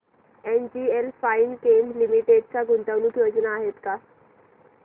NGL finechem limited च्या गुंतवणूक योजना आहेत का